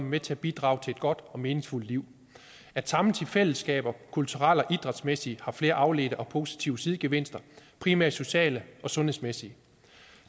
med til at bidrage til et godt og meningsfuldt liv at samles i fællesskaber kulturelle og idrætsmæssige har flere afledte og positive sidegevinster primært sociale og sundhedsmæssige